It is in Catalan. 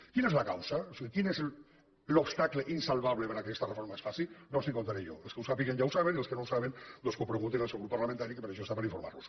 quina és la causa o sigui quin és l’obstacle insalvable perquè aquesta reforma es faci no els ho contaré jo els que ho sàpiguen ja ho saben i els que no ho saben doncs que ho preguntin al seu grup parlamentari que per això està per informar los